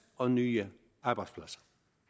og nye arbejdspladser